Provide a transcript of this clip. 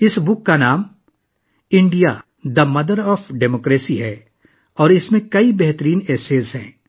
اس کتاب کا نام ہے India the mother of democracy اور اس میں کئی بہترین مضامین ہیں